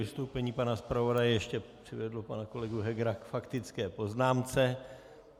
Vystoupení pana zpravodaje ještě přivedlo pana kolegu Hegera k faktické poznámce.